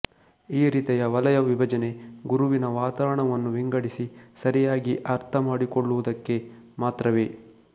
ಈ ರೀತಿಯ ವಲಯ ವಿಭಜನೆ ಗುರುವಿನ ವಾತಾವರಣವನ್ನು ವಿಂಗಡಿಸಿ ಸರಿಯಾಗಿ ಆರ್ಥಮಾಡಿಕೊಳ್ಳುವದಕ್ಕೆ ಮಾತ್ರವೇ